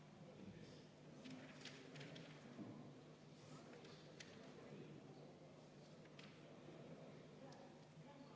Ettepaneku poolt on 42 saadikut, ettepaneku vastu on 1.